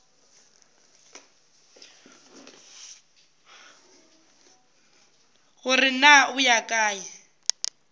gore na o ya kae